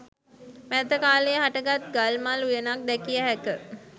මෑත කාලයේ හටගත් ගල්මල් උයනක් දැකිය හැක